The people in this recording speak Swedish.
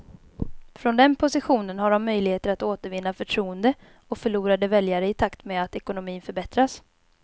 Från den positionen har de möjligheter att återvinna förtroende och förlorade väljare i takt med att ekonomin förbättras.